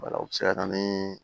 o bɛ se ka na ni